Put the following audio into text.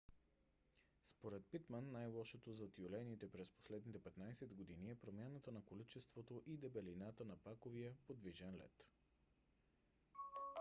според питман най - лошото за тюлените през последните 15 години е промяната на количеството и дебелината на паковия подвижен лед